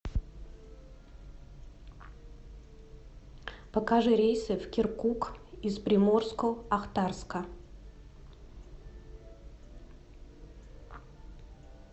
покажи рейсы в киркук из приморско ахтарска